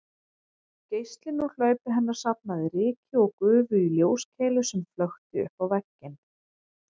Geislinn úr hlaupi hennar safnaði ryki og gufu í ljóskeilu sem flökti uppá vegginn